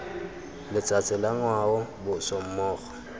letsatsi la ngwao boswa mmogo